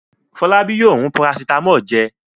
Fọlábí yóò rún parasítámọ̀ jẹ.